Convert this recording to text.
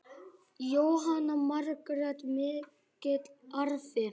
Jóhanna Margrét: Mikill arfi?